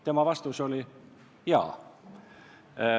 " Tema vastus oli: "Jaa.